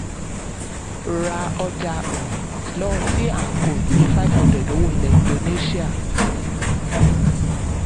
ra ọjà lọ́wọ́ um c and co iye five hundred owó ilẹ̀ indonésíà